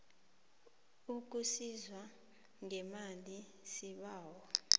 ukusizwa ngemali sibawa